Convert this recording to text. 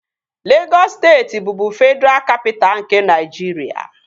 Legọs steeti bụbu Fedraa Kapitaa nke Naịjiria